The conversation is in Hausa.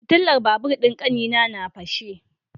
Fitilar babur din kanina na fashe.